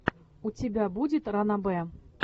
у тебя будет ранобэ